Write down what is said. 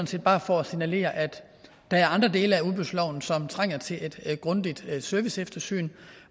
set bare for at signalere at der er andre dele af udbudsloven som trænger til et grundigt serviceeftersyn